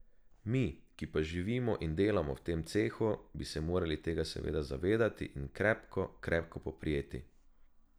Mi, ki pa živimo in delamo v tem cehu, bi se morali tega seveda zavedati in krepko, krepko poprijeti.